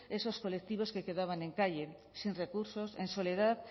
esos colectivos que quedaban en calle sin recursos en soledad